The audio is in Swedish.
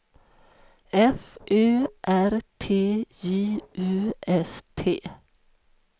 F Ö R T J U S T